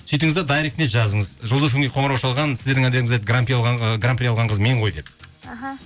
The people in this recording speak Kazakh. сөйтіңіз де дайректіне жазыңыз жұлдыз фм ге қоңырау шалған сіздеріңіз әндеріңізбен ы гран при алған қыз мен ғой деп іхі